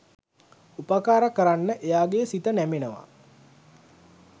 උපකාර කරන්න එයාගෙ සිත නැමෙනවා.